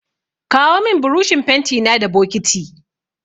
Kawo min burushin fentina da bokiti.